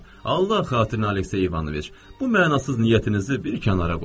Allah xatirinə, Aleksey İvanoviç, bu mənasız niyyətinizi bir kənara qoyun.